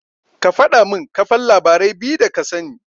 Ka faɗamin kafan labarai biyu da kasani.